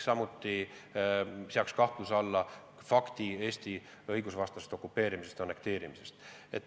Samuti ei tohi kahtluse alla sattuda Eesti õigusvastase okupeerimise-annekteerimise fakt.